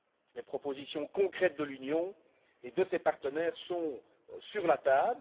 Les propositions concrètes de l'Union et de ses partenaires sont sur la table.